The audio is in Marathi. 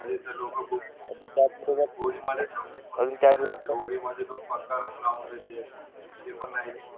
अजून त्या मध्ये काय होळी मध्ये जो पताका लावून देते ते पण नाहीत